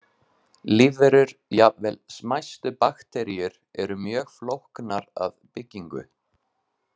Lífverur, jafnvel smæstu bakteríur, eru mjög flóknar að byggingu.